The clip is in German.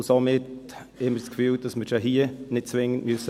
Somit haben wir das Gefühl, wir müssten diese hier nicht zwingend beraten.